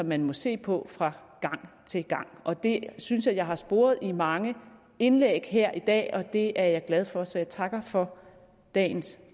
man må se på fra gang til gang det synes jeg at jeg har sporet i mange indlæg her i dag og det er jeg glad for så jeg takker for dagens